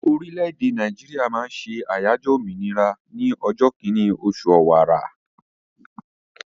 Orílẹ̀-èdè Nàìjíríà máa ń ṣe àyájọ́ òmìnira ní ọjọ́ kínní oṣù ọ̀wàrà.